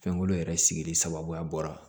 Fɛnkolo yɛrɛ sigili sababu bɔra